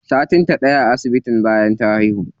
Satin ta ɗaya a asibitin bayan ta haihu.